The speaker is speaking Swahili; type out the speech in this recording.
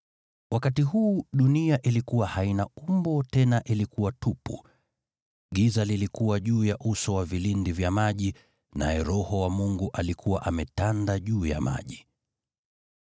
Wakati huu dunia ilikuwa haina umbo, tena ilikuwa tupu. Giza lilikuwa juu ya uso wa vilindi vya maji, naye Roho wa Mungu alikuwa ametulia juu ya maji.